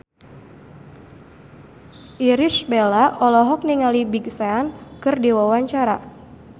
Irish Bella olohok ningali Big Sean keur diwawancara